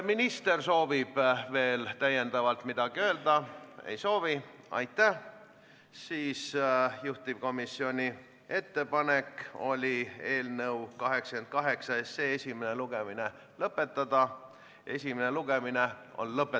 Nii et, sõbrad, hääletame muudatused ära, ma arvan, et siis koguneb juhatus ja teeb ettepaneku eelnõu teine lugemine katkestada.